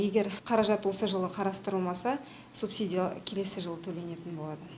егер қаражат осы жылы қарастырылмаса субсидия келесі жылы төленетін болады